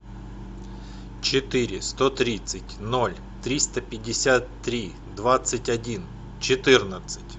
четыре сто тридцать ноль триста пятьдесят три двадцать один четырнадцать